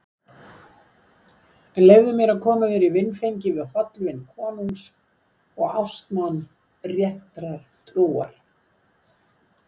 En leyfðu mér að koma þér í vinfengi við hollvin konungs og ástmann réttrar trúar.